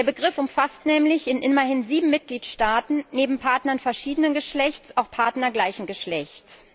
Der Begriff umfasst nämlich in immerhin sieben Mitgliedstaaten neben Partnern verschiedenen Geschlechts auch Partner gleichen Geschlechts.